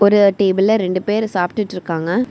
இந்த டேபிள்ல ரெண்டு பேர் சாப்டுட்டிருக்காங்க.